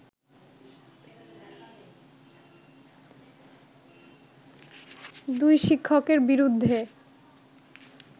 দুই শিক্ষকের বিরুদ্ধে